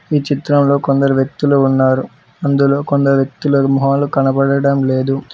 ఈ చిత్రంలో కొందరు వ్యక్తులు ఉన్నారు అందులో కొందరు వ్యక్తుల మొహాలు కనబడడం లేదు.